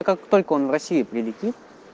как только он в россии прилетит